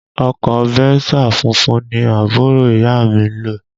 Ọkọ Venza funfun ni àbúrò ìyá à mi ń lò